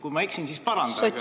Kui ma eksin, siis parandage!